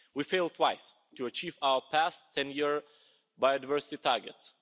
We failed twice to achieve our past ten year biodiversity targets